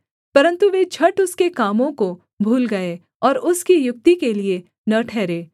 परन्तु वे झट उसके कामों को भूल गए और उसकी युक्ति के लिये न ठहरे